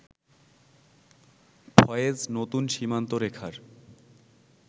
ফয়েজ নতুন সীমান্তরেখার